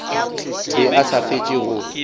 be a sa fetše go